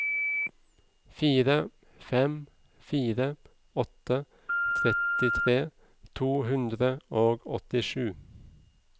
fire fem fire åtte trettitre to hundre og åttisju